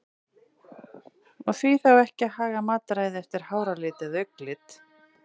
Og því þá ekki að haga mataræði eftir háralit eða augnlit?